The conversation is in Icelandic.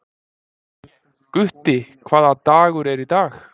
Gutti, hvaða dagur er í dag?